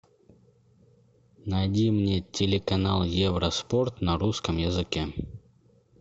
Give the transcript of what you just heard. найди мне телеканал евроспорт на русском языке